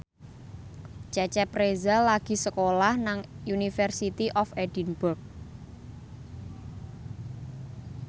Cecep Reza lagi sekolah nang University of Edinburgh